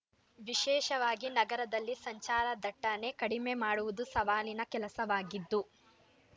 ವಿಶೇಷವಾಗಿ ನಗರದಲ್ಲಿ ಸಂಚಾರ ದಟ್ಟಣೆ ಕಡಿಮೆ ಮಾಡುವುದು ಸವಾಲಿನ ಕೆಲಸವಾಗಿದ್ದು